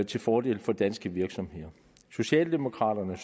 til fordel for danske virksomheder socialdemokraterne